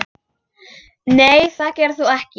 Nei það gerir þú ekki.